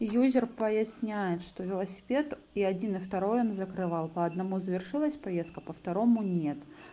юзер поясняет что велосипед и один и второй он закрывал по одному завершилась поездка по второму нет